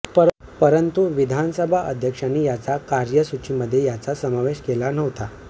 परंतु विधानसभा अध्यक्षांनी याचा कार्यसूचीमध्ये याचा समावेश केला नव्हता